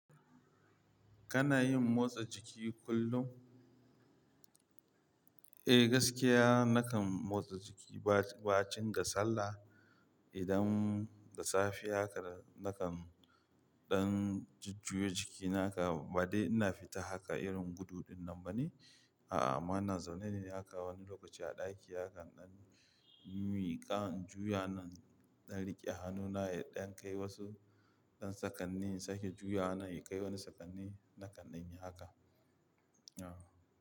Kana yin motsa jiki kullum? Eh gaskiya nakan motsa jiki ba, ba cin da sallah idan da safe haka nakan ɗan jujjuya jikina haka ba dai ina fita haka irin gudu dinnan bane. A'a ama ina zaune ne haka wani lokaci a ɗaki hakan ɗan miƙa in juya nan ɗan riƙe hannuna ɗan kai wasu ɗan sakanni sake juya nan ya kai wani sakanni nakan yi haka. Yeah.